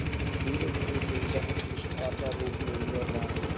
धीरेधीरे उपेक्षा ने तिरस्कार का रूप ले लिया था